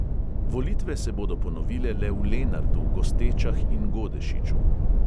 Volitve se bodo ponovile le v lenartu, gostečah in godešiču.